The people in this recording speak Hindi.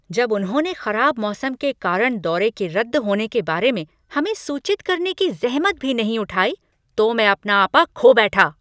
जब उन्होंने खराब मौसम के कारण दौरे के रद्द होने के बारे में हमें सूचित करने की ज़हमत भी नहीं उठाई तो मैं अपना आपा खो बैठा।